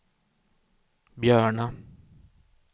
Björna